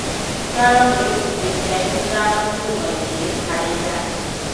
Nguraro nĩ gĩcunjĩ kĩa ithano turuma igĩrĩ harĩ igana